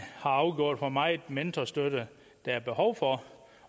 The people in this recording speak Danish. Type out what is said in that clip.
har afgjort hvor meget mentorstøtte der er behov for